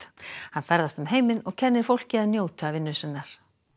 hann ferðast um heiminn og kennir fólki að njóta vinnu sinnar